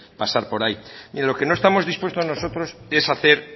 pasar por ahí lo que no estamos dispuestos nosotros es a hacer